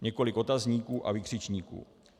- Několik otazníků a vykřičníků.